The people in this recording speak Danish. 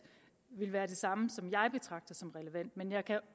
vil være det samme som jeg betragter som relevant men jeg kan